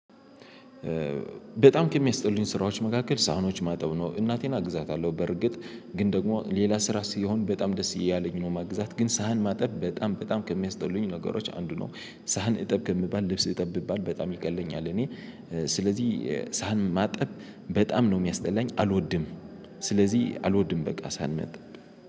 በጣም ከሚያስጠሉኝ ስራዎች መካከል ሳህኖች ማጠብ ነው። እናቴን አግዛታለሁ በርግጥ ግን ደግሞ ሌላ ስራ ሲሆን በጣም ደስ እያለኝ ነው። ማግዛት ግን ሳህን ማጠብ በጣም በጣም ከሚያስጠሉኝ ነገሮች አንዱ ነው። ሳህን እጠብ ከምባል ልብስ እጠብ ብባል በጣም ይቀለኝ አለ። እኔ ስለዚህ ሳህን ማጠብ በጣም ነው የሚያስጠላኝ አልወድም። ስለዚህ አልወድም በቃ ሳንመጥ።